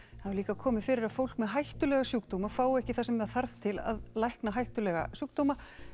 hefur líka komið fyrir að fólk með hættulega sjúkdóma fái ekki það sem það þarf til að lækna hættulega sjúkdóma